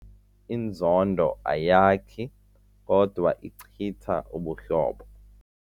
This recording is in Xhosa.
Inzondo ayakhi kodwa ichitha ubuhlobo.